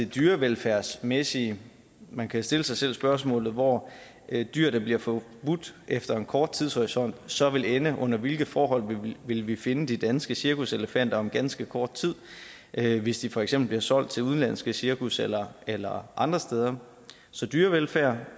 dyrevelfærdsmæssige man kan stille sig selv spørgsmålet hvor dyr der bliver forbudt efter en kort tidshorisont så vil ende under hvilke forhold vil vi finde de danske cirkuselefanter om ganske kort tid hvis de for eksempel bliver solgt til udenlandske cirkus eller eller andre steder så dyrevelfærd